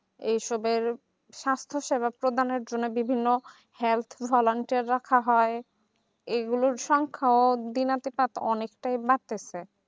এই সবের শ্বাসফুসের রক্ত দানের জন্যে বিভিন্ন health volunteer রাখা হয় এগুলোর সংখ্যাও বিনা অনেকটাই বাড়তেছে